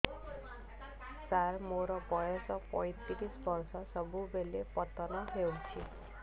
ସାର ମୋର ବୟସ ପୈତିରିଶ ବର୍ଷ ସବୁବେଳେ ପତନ ହେଉଛି